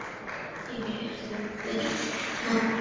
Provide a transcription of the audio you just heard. Þín Heiðrún Birna.